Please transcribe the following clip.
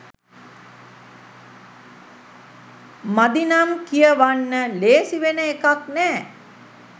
මදිනම් කියවන්න ලේසි වෙන එකක් නෑ.